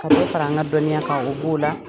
Ka dɔ fara an ka dɔnniya kan o b'o la.